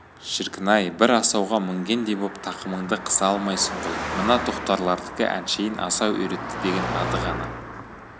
шіркін-ай бір асауға мінгендей боп тақымыңды қыса алмайсың ғой мына тоқтарлардікі әншейін асау үйретті деген аты ғана да